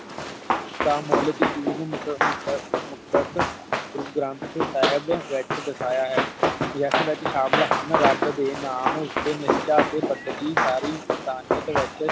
ਤਾ ਮੌਲਿਕ ਯਕੀਨ ਮੁਕ ਮੁਕ ਮੁਕਤਸ ਗੁਰੂ ਗ੍ਰੰਥ ਸਾਹਿਬ ਵਿਚ ਦਿਖਾਯਾ ਹੈ ਵੀ ਇਸ ਵਿਚ ਸ਼ਾਮਿਲ ਹਨ ਰੱਬ ਦੇ ਨਾਮ ਉਤੇ ਨੀਚਾ ਅਤੇ ਬਦਗੀਕਾਰੀ